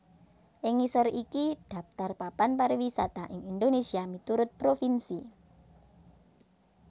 Ing ngisor iki dhaptar papan pariwisata ing Indonésia miturut provinsi